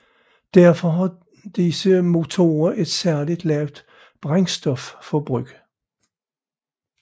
Derfor har disse motorer et særligt lavt brændstofforbrug